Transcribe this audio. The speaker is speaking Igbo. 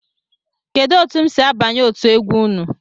Kedu etụ m si abanye otú egwu ụnụ?